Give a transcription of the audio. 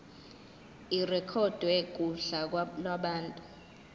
irekhodwe kuhla lwabantu